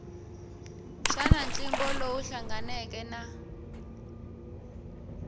xana ntlimbo lowu hlanganeke na